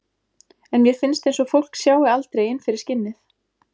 En mér finnst eins og fólk sjái aldrei inn fyrir skinnið.